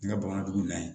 N ka bamanandugun na yen